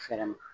Fɛɛrɛ min